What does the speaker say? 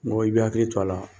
Mɔgɔ i bi hakili to a la.